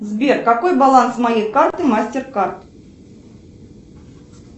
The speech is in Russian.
сбер какой баланс моей карты мастеркард